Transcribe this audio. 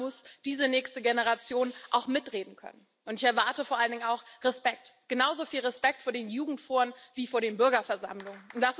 Da muss diese nächste Generation auch mitreden können. Ich erwarte vor allen Dingen auch Respekt, genauso viel Respekt vor den Jugendforen wie vor den Bürgerversammlungen.